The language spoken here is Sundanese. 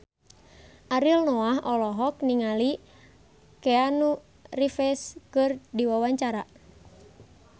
Ariel Noah olohok ningali Keanu Reeves keur diwawancara